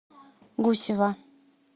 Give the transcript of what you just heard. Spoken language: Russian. гусева